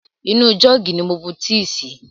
Inú jọ́ọ̀gì ni mo bu tíì sí.